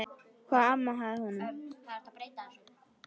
Hvað amaði að honum?